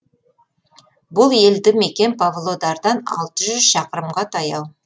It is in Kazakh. бұл елді мекен павлодардан алты жүз шақырымға таяу